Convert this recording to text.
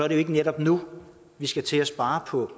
ikke netop nu vi skal til at spare på